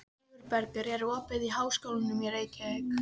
Sigurbergur, er opið í Háskólanum í Reykjavík?